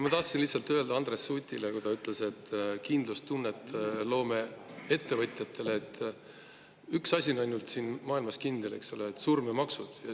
Ma tahtsin lihtsalt öelda Andres Sutile – ta ütles, et me loome kindlustunnet ettevõtjatele –, et ainult asja on siin maailmas kindlad: surm ja maksud.